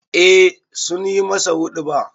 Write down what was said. Eh sun yi masa huɗuba.